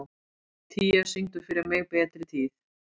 Tía, syngdu fyrir mig „Betri tíð“.